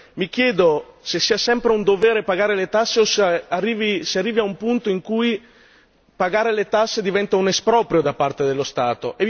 Mi chiedo se sia sempre un dovere pagare le tasse o se si arrivi ad un punto in cui pagare le tasse diventa un esproprio da parte dello Stato.